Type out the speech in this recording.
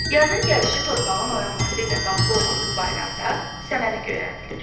Yazın gəlişi torpağın oyanması ilə bağlı olan bu bayramda səməni göyərdilir.